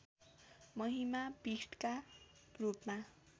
महिमा पीठका रूपमा